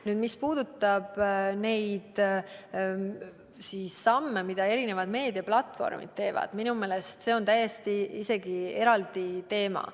Nüüd, mis puudutab neid samme, mida meediaplatvormid teevad, siis minu meelest on see täiesti eraldi teema.